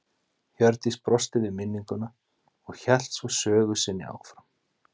Hjördís brosti við minninguna og hélt svo sögu sinni áfram